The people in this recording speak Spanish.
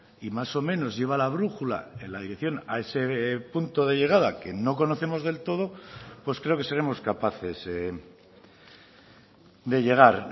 y más o menos lleva la brújula en la dirección a ese punto de llegada que no conocemos del todo pues creo que seremos capaces de llegar